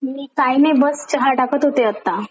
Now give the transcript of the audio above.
मी काय नाय बस चहा टाकत होते आता.